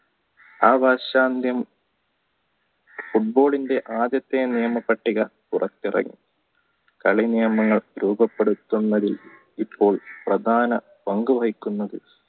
football ടെ ആദ്യത്തെ നിയമപട്ടിക പുറത്തിറക്കി കളി നിയമങ്ങൾ രൂപപ്പെടുത്തുന്നതിന് ഇപ്പോൾ പ്രധാന പങ്കു വഹിക്കുന്നത്